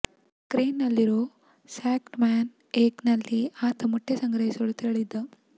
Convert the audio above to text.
Kearns ನಲ್ಲಿರೋ stockman's egg ನಲ್ಲಿ ಆತ ಮೊಟ್ಟೆ ಸಂಗ್ರಹಿಸಲು ತೆರಳಿದ್ದ